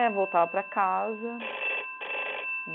É, eu voltava para casa.